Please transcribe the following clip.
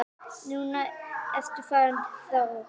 Núna ertu farinn frá okkur.